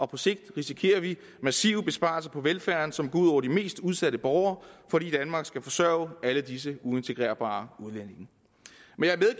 på sigt risikerer vi massive besparelser på velfærden som går ud over de mest udsatte borgere fordi danmark skal forsørge alle disse uintegrerbare udlændinge men